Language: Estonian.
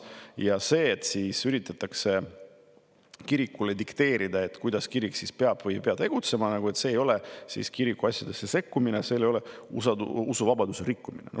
et kui üritatakse kirikule dikteerida, kuidas kirik peab või ei pea tegutsema, siis see ei ole kirikuasjadesse sekkumine, see ei ole usuvabaduse rikkumine.